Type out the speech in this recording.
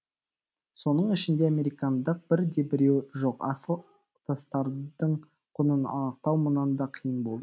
соның ішінде американдық бір де біреуі жоқ асыл тастардың құнын анықтау мұнан да қиын болды